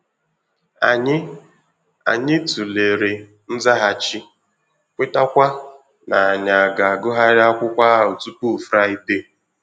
Ànyị Ànyị tụlere nzaghachi, kwetaakwa ná ànyà ga-agụghari akwụkwọ ahụ tupu fraịdee